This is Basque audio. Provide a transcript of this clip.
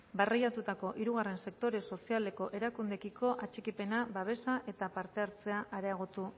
barreiatutako hirugarren sektore sozialeko erakundeekiko atxikipena babesa eta parte hartzea areagotu